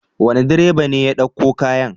Wane direba ne ya ɗauko kayan?